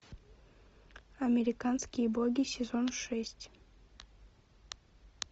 американские боги сезон шесть